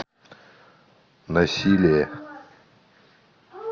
насилие